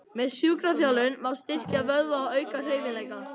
Með sjúkraþjálfun má styrkja vöðva og auka hreyfanleika.